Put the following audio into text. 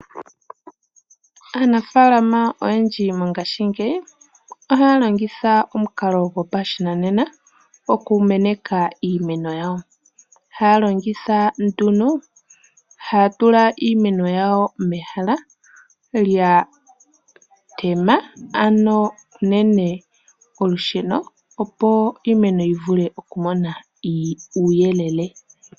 Aanafalama oyendji mongashingeyi ohaya longitha omukalo gopashinanena okumeneka iimeno yawo, haya tula iimeno yawo mehala lya tema, ano unene kolusheno opo iimeno yi vule okumona uuyelele.